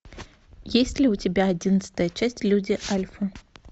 есть ли у тебя одиннадцатая часть люди альфа